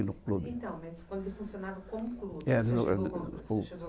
Então, mas quando ele funcionava como clube, o senhor chegou